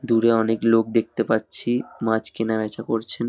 দূরে অনেক লোক দেখতে পারছি মাছ কেনা বেচা করছেন।